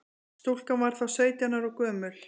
Stúlkan var þá sautján ára gömul